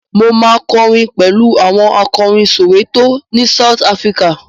Mo ma kọrin pẹ̀lú áwọn akọrin Soweto ni South Africa.